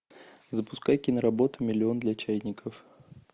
запускай киноработу миллион для чайников